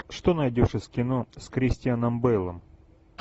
что найдешь из кино с кристианом бейлом